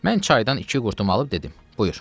Mən çaydan iki qurtum alıb dedim: Buyur.